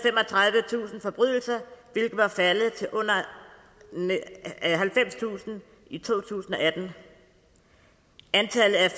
tusind forbrydelser hvilket var faldet til under halvfemstusind i to tusind og atten antallet af